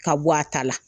Ka bɔ a ta la